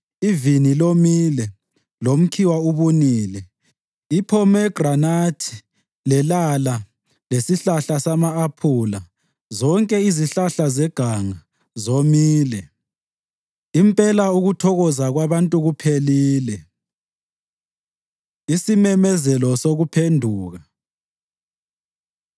Ivini lomile lomkhiwa ubunile; iphomegranathi, lelala lesihlahla sama-aphula, zonke izihlahla zeganga, zomile. Impela ukuthokoza kwabantu kuphelile. Isimemezelo Sokuphenduka